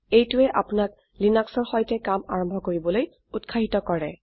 এইটোৱে আপোনাক লিনাক্সৰ সৈতে কাম আৰম্ভ কৰিবলৈ উত্সাহিত কৰে